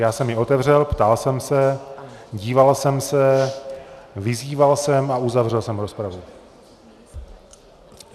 Já jsem ji otevřel, ptal jsem se, díval jsem se, vyzýval jsem a uzavřel jsem rozpravu.